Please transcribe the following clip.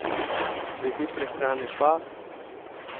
Glede prehrane pa ...